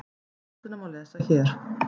Skýrsluna má lesa hér